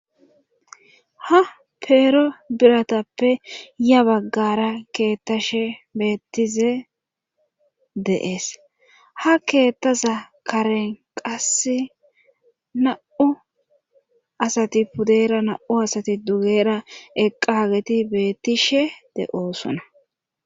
Ha peero biratappe ya baggara keettashe beettize deees ha keettaza karen qas na7u asati pudera na7u asati dugera eqqa hageti bettishe de7oosona.